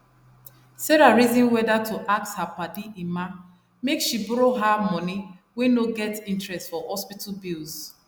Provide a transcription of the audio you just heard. sarah reason whether to ask her padi emma make she borrow her money wey no get interest for hospital bills